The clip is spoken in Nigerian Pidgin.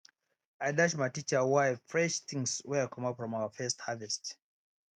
i dash my teacher wife fresh things wey i comot from our first harvest